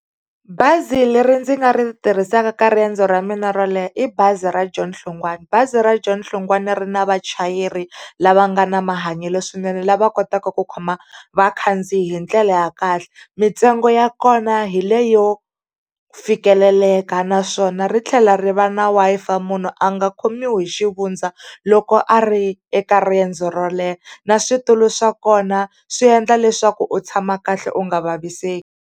Bazi leri ndzi nga ri tirhisaka ka riendzo ra mina ro leha, i bazi ra John Hlongwane. Bazi ra John Hlongwane ri na vachayeri lava nga na mahanyelo swinene lava kotaka ku khoma vakhandziyi hi ndlela ya kahle. Mintsengo ya kona hi leyo fikeleleka, naswona ri tlhela ri va na Wi-Fi munhu a nga khomiwi hi xivundza loko a ri eka riendzo ro leha. Na switulu swa kona swi endla leswaku u tshama kahle u nga vaviseki.